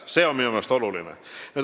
See on minu meelest oluline.